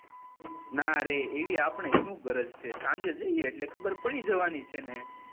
ના રે એવી આપળે શું ગરજ છે સાંજે જયીયે એટલે ખબર પડી જવાની છે ને